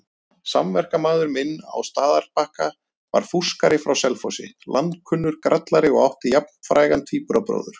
Samverkamaður minn á Staðarbakka var fúskari frá Selfossi, landskunnur grallari og átti jafnfrægan tvíburabróður.